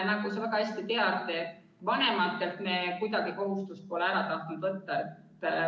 Nagu sa väga hästi tead, vanematelt me pole kuidagi tahtnud kohustust ära võtta.